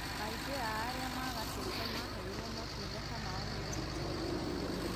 Aingĩ a arĩa magatĩte maheirwo motungata mau nĩ NHIF